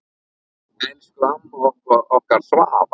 Elsku amma okkar Svava.